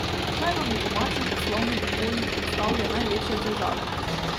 Kaj vam v domačem poslovnem okolju predstavlja največje težave?